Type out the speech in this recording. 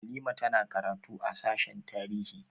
Halima ta na karatu a sashen tarihi